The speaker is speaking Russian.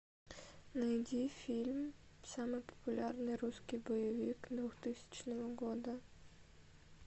найди фильм самый популярный русский боевик двухтысячного года